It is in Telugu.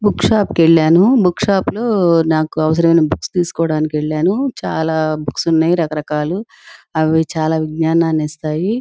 బుక్ షాప్ కెల్లను బుక్ షాపు లో నాకు అవసరమైన బుక్స్ తీసుకోడానికి వెళ్ళాను. చాలా బుక్స్ ఉన్నాయ్. రకరకాలు అవి చాలా విజ్ఞానాన్నిస్తాయి.